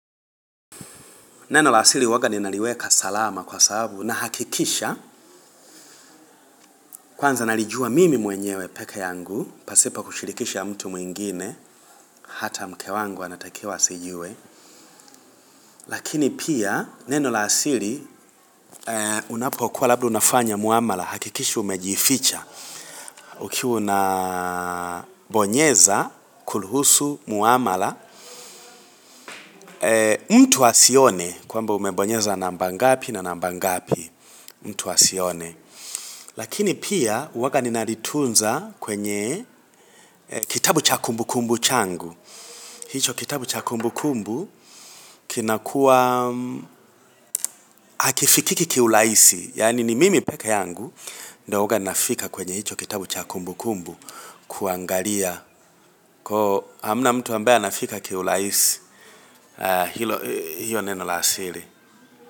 Neno la siri huwaga ninaliweka salama kwa sababu nahakikisha kwanza nalijua mimi mwenyewe peke yangu pasipo kushirikisha mtu mwingine hata mke wangu anatakiwa asijue lakini pia neno la siri unapokuwa labda unafanya muamala hakikisha umejificha ukiwa unabonyeza kuruhusu muamala mtu asione kwamba umebonyeza namba ngapi na namba ngapi, mtu asione Lakini pia huwaga ninalitunza kwenye kitabu cha kumbu kumbu changu. Hicho kitabu cha kumbu kumbu kinakuwa hakifikiki kiurahisi. Yaani ni mimi peke yangu ndo huaga nafika kwenye hicho kitabu cha kumbu kumbu kuangalia. Hamna mtu ambaye anafika kiurahisi hilo, hiyo neno la siri.